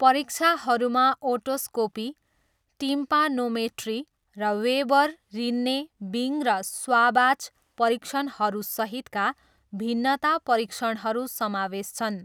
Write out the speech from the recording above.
परीक्षाहरूमा otoscopy, tympanometry, र Weber, Rinne, Bing र Schwabach परीक्षणहरूसहितका भिन्नता परीक्षणहरू समावेश छन्।